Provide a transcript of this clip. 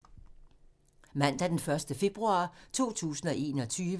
Mandag d. 1. februar 2021